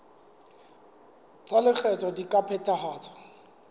tsa lekgetho di ka phethahatswa